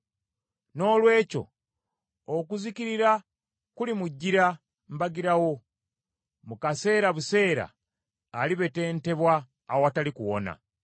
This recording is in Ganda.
Noolwekyo okuzikirira kulimujjira mbagirawo, mu kaseera buseera alibetentebwa awatali kuwona.